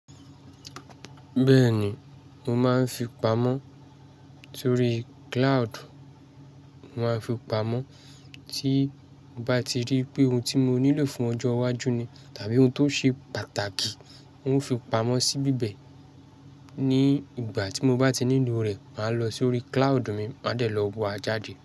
Bẹ́ẹ̀ni, mo máa ń fi pamọ́ sórí cloud. Mo máa ń fi pamọ́ tí mo bá ti rí pé ohun tí mo nílò fún ọjọ́ iwájú ni tàbí ohun tó ṣe pàtàkì. N o fi pamọ́ síbi bẹ́ẹ̀ ní ìgbà tí mo bá ti nílò rẹ̀, màá lọ sórí cloud mi, màá dẹ̀ lọ wo a jáde.